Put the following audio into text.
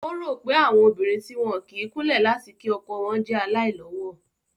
Ó rò pé àwọn obìnrin tí wọn kì í kúnlẹ̀ láti kí ọkọ wọn jẹ́ aláìlọ́wọ̀